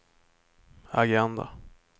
agenda